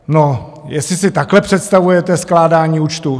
No, jestli si takhle představujete skládání účtů?